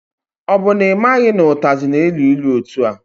Ọ bụ na ị maghị na ụtazị na-elu ilu etua?